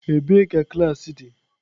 Ebee ka klaasị dị?